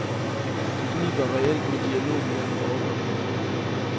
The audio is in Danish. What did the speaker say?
Det kniber reelt med dialogen mellem oppe og nede.